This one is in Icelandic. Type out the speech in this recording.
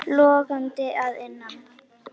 Logandi að innan.